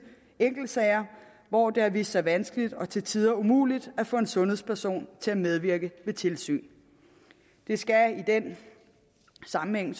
enkeltsager hvor det har vist sig vanskeligt og til tider umuligt at få en sundhedsperson til at medvirke ved tilsyn det skal så i den sammenhæng